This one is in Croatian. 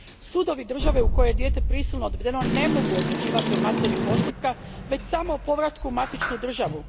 Sudovi države u kojoj je dijete prisilno odvedeno ne mogu odlučivati o materiji postupka, već samo o povratku u matičnu državu.